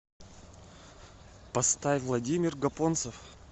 поставь владимир гапонцев